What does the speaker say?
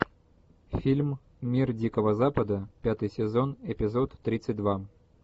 фильм мир дикого запада пятый сезон эпизод тридцать два